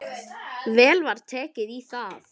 Vel var tekið í það.